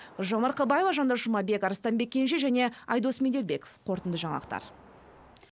гүлжан марқабаева жандос жұмабек арыстанбек кенже және айдос меделбеков қорытынды жаңалықтар